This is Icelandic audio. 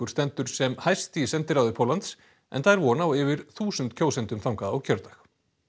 stendur sem hæst í sendiráði Póllands enda er von á yfir þúsund kjósendum þangað á kjördag